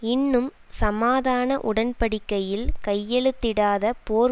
இன்னும் சமாதான உடன்படிக்கையில் கையெழுத்திடாத போர்